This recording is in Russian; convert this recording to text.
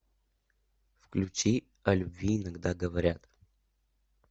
включи о любви иногда говорят